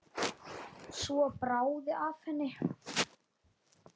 Svo bráði af henni.